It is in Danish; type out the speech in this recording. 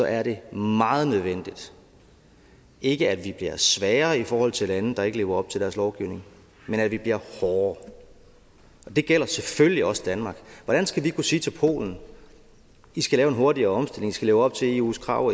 er det meget nødvendigt ikke at vi bliver svagere i forhold til lande der ikke lever op til deres lovgivning men at vi bliver hårdere det gælder selvfølgelig også danmark hvordan skal vi kunne sige til polen at de skal lave en hurtigere omstilling skal leve op til eus krav og